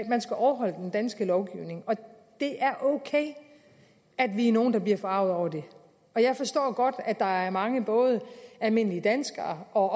man skal overholde den danske lovgivning og det er ok at vi er nogle der bliver forarget over det jeg forstår godt at der er mange både almindelige danskere og